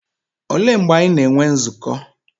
Olee mgbe anyị na-enwe nzukọ?